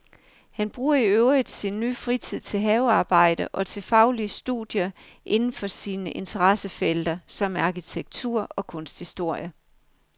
Han bruger i øvrigt sin nye frihed til havearbejde og til faglige studier inden for sine interessefelter, som er arkitektur og kunsthistorie.